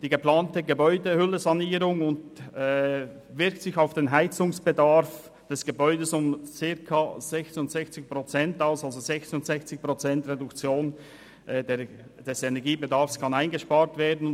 Die geplante Gebäudehüllensanierung wirkt sich auf den Heizungsbedarf des Gebäudes insofern aus, als 66 Prozent des Energiebedarfs eingespart werden können.